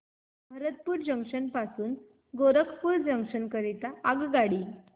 Bharatpur junction पासून Gorakhpur junction करीता आगगाडी